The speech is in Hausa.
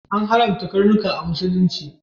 An haramta karnuka a Musulunci.